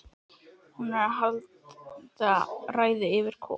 Hún er að halda ræðu yfir Kol